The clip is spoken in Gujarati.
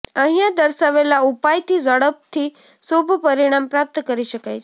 અહિંયા દર્શાવેલા ઉપાયથી ઝડપથી શુભ પરીણામ પ્રાપ્ત કરી શકાય છે